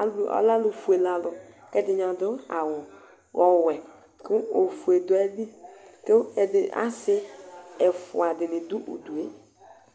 ɛduɛ alɛ alu fuélé alu kɛ ɛdini adu awu ɔwɛ ku ofuélé du ayili ku asi ɛfua dini du udué